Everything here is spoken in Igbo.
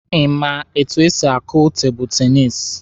Ị ma etu esi akụ tebụlụ tenisi?